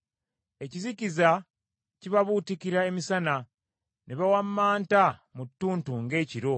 Ekizikiza kibabuutikira emisana, ne bawammanta mu ttuntu ng’ekiro.